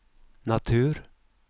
natur